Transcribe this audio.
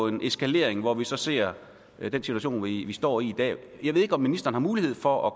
en eskalering hvor vi så ser den situation vi står i i dag jeg ved ikke om ministeren har mulighed for at